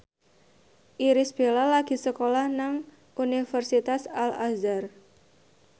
Irish Bella lagi sekolah nang Universitas Al Azhar